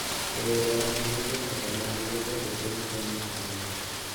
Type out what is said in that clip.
E yore mag limbe koda mag yuto e piny China sani.